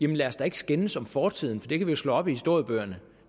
lad os da ikke skændes om fortiden for det kan vi jo slå op i historiebøgerne